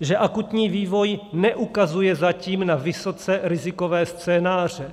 že akutní vývoj neukazuje zatím na vysoce rizikové scénáře.